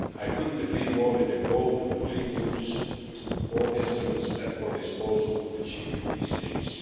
I could not agree more with the goal of fully using all the instruments at our disposal to achieve these aims.